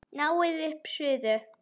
Náið upp suðu.